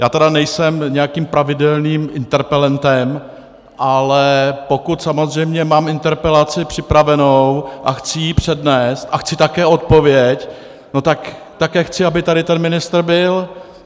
Já tedy nejsem nějakým pravidelným interpelentem, ale pokud samozřejmě mám interpelaci připravenou a chci ji přednést a chci také odpověď, no tak také chci, aby tady ten ministr byl.